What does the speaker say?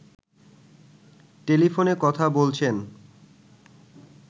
টেলিফোনে কথা বলছেন